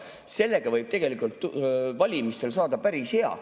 Sellega võib tegelikult valimistel päris hästi saada.